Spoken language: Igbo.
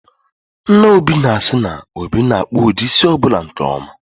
Nna Obi na-asị na, Obi na-akpụ ụdị isi ọbụla nke ọma